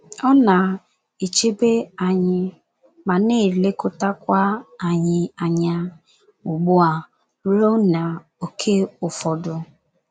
Ọ na - echebe anyị ma na - elekọtakwa anyị anyá ugbu a ruo n’ókè ụfọdụ.